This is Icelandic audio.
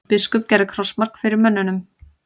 Biskup gerði krossmark fyrir mönnunum.